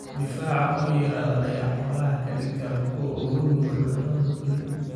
Difaaca oo yaraada ayaa xoolaha ka dhigta kuwo u nugul cudurrada dulin.